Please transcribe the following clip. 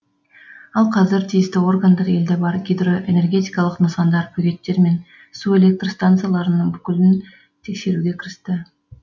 ал қазір тиісті органдар елде бар гидроэнергетикалық нысандар бөгеттер мен су электр стансаларының бүкілін тексеруге кірісті